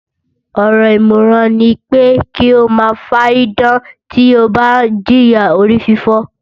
Ọ̀rọ̀ ìmọ̀ràn ní pé kí o máa fárídán tí o ń bá jìya orífífọ́